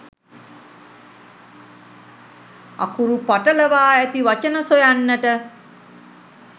අකුරු පටලවා ඇති වචන සොයන්නට